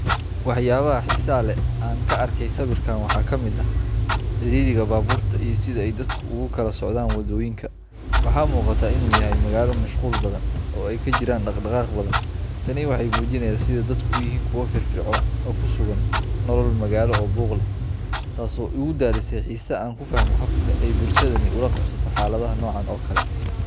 Waxyaabaha xiisaha leh ee aan ka arkay sawirkan waxaa ka mid ah ciriiriga baabuurta iyo sida ay dadku ugu kala socdaan waddooyinka. Waxaa muuqata in uu yahay magaalo mashquul badan oo ay ka jirto dhaqdhaqaaq badan. Tani waxay muujinaysaa sida dadku u yihiin kuwo firfircoon oo ku sugan nolol magaalo oo buuq leh, taas oo igu dhalisay xiise aan ku fahmo habka ay bulshadani ula qabsato xaaladaha noocan oo kale ah.